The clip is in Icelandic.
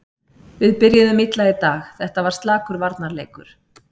Við byrjuðum illa í dag, þetta var slakur varnarleikur.